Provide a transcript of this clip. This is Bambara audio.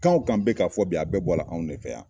Kan o kan bɛ ka fɔ bi a bɛɛ bɔla anw de fɛ yan